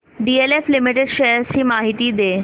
DLF limited shares ची माहिती दे